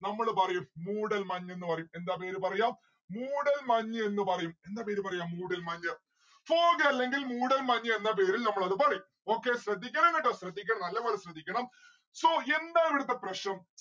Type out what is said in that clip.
നമ്മള് പറയും മൂടൽ മഞ്ഞെന്ന് പറയും എന്താ പേര് പറയാ മൂടൽ മഞ്ഞെന്ന് പറയും എന്താ പേര് പറയാ മൂടൽ മഞ്‌ fog അല്ലെങ്കിൽ മൂടൽ മഞ്‌ എന്ന പേരിൽ നമ്മൾ അത് പറയും. okay ശ്രദ്ധിക്കണം കേട്ടോ ശ്രദ്ധിക്കണം നല്ലപോലെ ശ്രദ്ധിക്കണം so എന്താണ് ഇവിടുത്തെ പ്രശ്നം